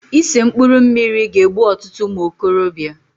Ise mkpụrụ mmiri ga-egbu ọtụtụ ụmụokorobịa.